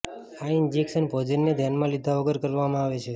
આ ઇન્જેક્શન ભોજનને ધ્યાનમાં લીધા વગર કરવામાં આવે છે